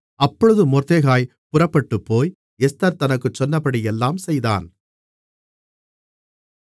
அப்பொழுது மொர்தெகாய் புறப்பட்டுப்போய் எஸ்தர் தனக்குச் சொன்னபடியெல்லாம் செய்தான்